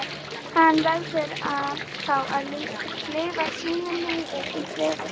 Hann verður að fá að lifa sínu lífi í friði.